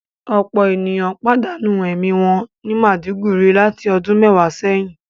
Ọpọ eniyan padanu ẹmi wọn ni Maiduguri lati ọdun mẹwa sẹyin